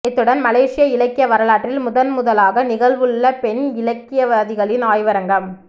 இத்துடன் மலேசிய இலக்கிய வரலாற்றில் முதன்முதலாக நிகழவுள்ள பெண் இலக்கியவாதிகளின் ஆய்வரங்கம்